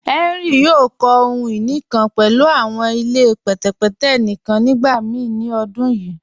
Henry yòò kọ̀ ohun-iní kan pẹ̀lú awọn ilẹ̀ pẹtẹpẹtẹ̀ níkan nígbàmíì ni ọ̀dún yíì.